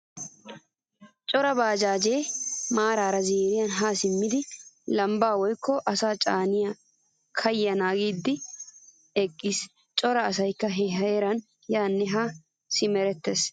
Cora baajjaaje maarara ziiriyan ha simmidi lambba woykko asaa caaniyo kaya naagidi eqqiis. Cora asaykka ha heeran yaane ha simerettees.